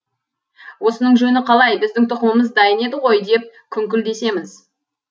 осының жөні қалай біздің тұқымымыз дайын еді ғой деп күңкіл десеміз